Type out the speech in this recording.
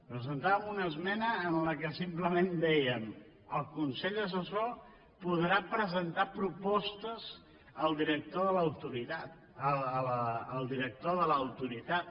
presentàvem una esmena en què simplement dèiem el consell assessor podrà presentar propostes al director de l’autoritat